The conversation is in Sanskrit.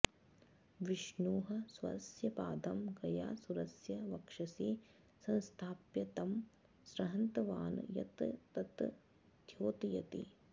विष्णुः स्वस्य पादं गयासुरस्य वक्षसि संस्थाप्य तं संहृतवान् यत् तत् द्योतयति